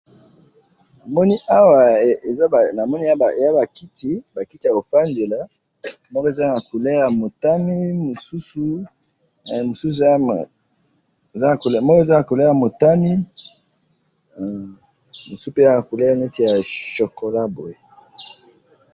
Namoni awa eza bakiti yako fandela, moko eza na couleur ya motani, mususu eza na couleur neti ya chocolat boye.